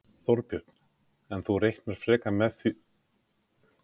Þorbjörn: En þú reiknar frekar með því að það komi fram fyrir þingfrestun?